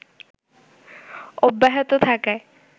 অব্যাহত থাকায়